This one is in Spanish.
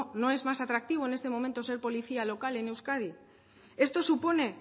no es más atractivo en estos momentos ser policía local en euskadi esto supone